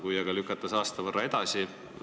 Kui aga lükata see aasta võrra edasi?